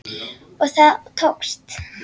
Og það tókst!